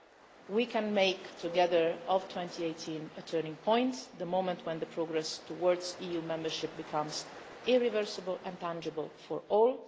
Together we can make 2018 a turning point the moment when the progress towards EU membership becomes irreversible and tangible for